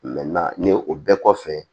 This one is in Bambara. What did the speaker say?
nin ye o bɛɛ kɔfɛ